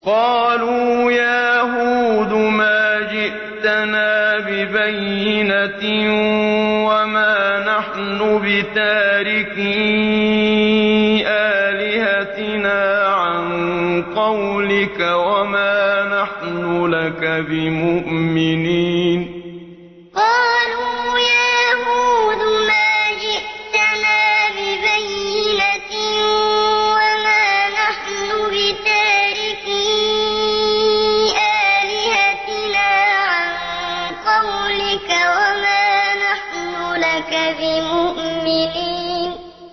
قَالُوا يَا هُودُ مَا جِئْتَنَا بِبَيِّنَةٍ وَمَا نَحْنُ بِتَارِكِي آلِهَتِنَا عَن قَوْلِكَ وَمَا نَحْنُ لَكَ بِمُؤْمِنِينَ قَالُوا يَا هُودُ مَا جِئْتَنَا بِبَيِّنَةٍ وَمَا نَحْنُ بِتَارِكِي آلِهَتِنَا عَن قَوْلِكَ وَمَا نَحْنُ لَكَ بِمُؤْمِنِينَ